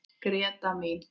Gréta mín.